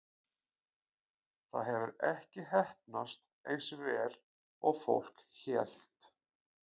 Það hefur ekki heppnast eins vel og fólk hélt.